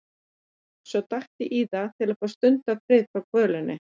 Svo datt ég í það til að fá stundarfrið frá kvölinni.